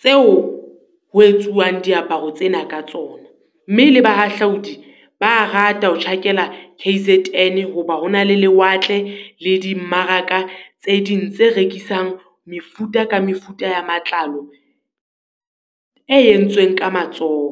Tseo ho etsuwang diaparo tsena ka tsona, mme le ba hahlaodi ba a rata ho tjhakela K_Z_N, ho ba ho na le lewatle le di mmaraka tse ding tse rekisang mefuta ka mefuta ya matlalo e entsweng ka matsoho.